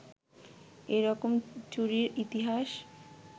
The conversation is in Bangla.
এরকম চুরির ইতিহাস